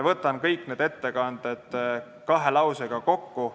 Võtan kõik need ettekanded kahe lausega kokku.